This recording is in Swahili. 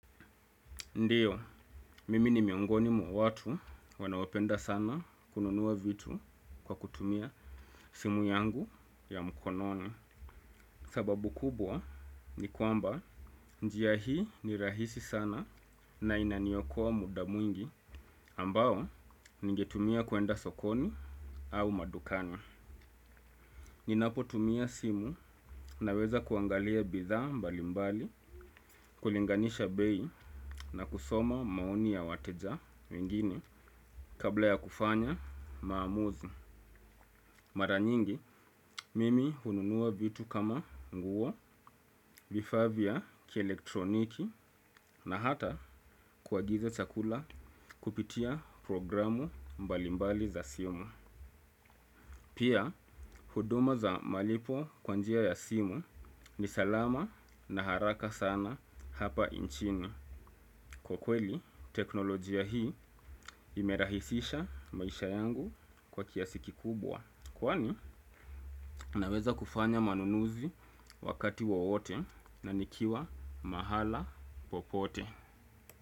Ndio, mimi ni miongoni mwa watu wanaopenda sana kununua vitu kwa kutumia simu yangu ya mkononi. Sababu kubwa ni kwamba njia hii ni rahisi sana na inaniokoa muda mwingi ambao ningetumia kwenda sokoni au madukana. Ninapo tumia simu na weza kuangalia bidhaa mbalimbali, kulinganisha bei na kusoma maoni ya wateja wengine kabla ya kufanya maamuzi. Mara nyingi, mimi hununua vitu kama nguo, vifaa vya ki elektroniki na hata kuagiza chakula kupitia programu mbalimbali za simu. Pia, huduma za malipo kwa njia ya simu ni salama na haraka sana hapa nchini. Kwa kweli, teknolojia hii imerahisisha maisha yangu kwa kiasi kikubwa. Kwani, naweza kufanya manunuzi wakati wowote na nikiwa mahala popote.